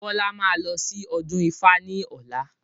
Bọlá máa lọ sí ọdún ifá ni ọ̀la.